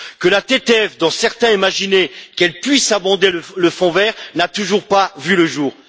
Que la TTF, dont certains imaginaient qu'elle puisse financer le Fonds vert, n'a toujours pas vu le jour.